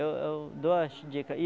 Eu eu dou as dica aí.